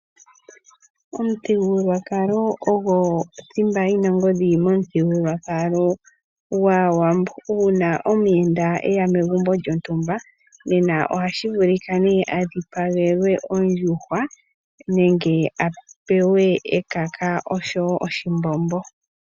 Omuthigululwakalo ogo thimba yi na ongodhi momuthigululwakalo gwAawambo. Uuna omuyenda e ya megumbo lyontumba oha vulu a dhipagelwe ondjuhwa, nenge a pewe ekaka osho wo oshimbombo.